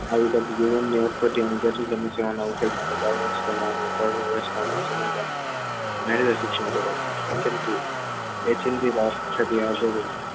શિક્ષણ વ્યવસ્થા